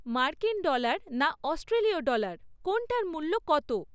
মার্কিন ডলার না অস্ট্রেলীয় ডলার কোনটার মূল্য কত?